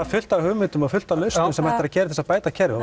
fullt af hugmyndum og fullt af lausnum sem hægt er að gera til að bæta kerfið og